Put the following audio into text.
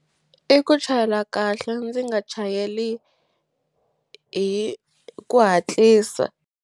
I ku chayela kahle ndzi nga chayeli hi ku hatlisa.